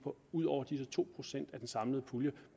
ud over disse to procent af den samlede pulje